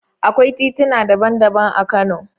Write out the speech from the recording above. Akwai tituna daban-daban a Kano.